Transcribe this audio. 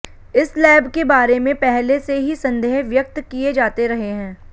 इस लैब के बारे में पहले से ही संदेह व्यक्त किये जाते रहे हैं